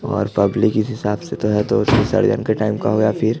और पब्लिक इस हिसाब तो है तो षडयंत्र टाइप का होगा फिर--